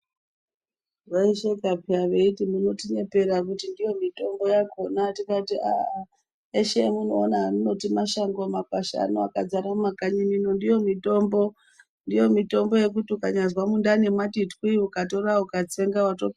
Vaisheka peyani veiti munotinyepera kuti ndiyo mitombo yakona tikati ahh yeshe yamunoona yamunoti mashango makwasha ana akazara mumakanyi minomu ndiyo mitombo yekuti ukazwa mundani mati twiyo ukatora ukatsenga wato.